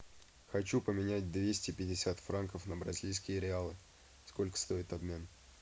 хочу поменять двести пятьдесят франков на бразильские реалы сколько стоит обмен